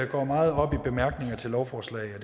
går meget op i bemærkninger til lovforslag og